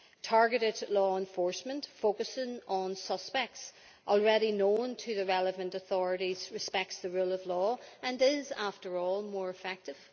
Targeted law enforcement focusing on suspects already known to the relevant authorities respects the rule of law and is, after all, more effective.